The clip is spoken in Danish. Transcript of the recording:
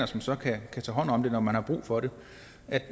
som så kan tage hånd om det når man har brug for det